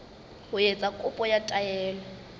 ho etsa kopo ya taelo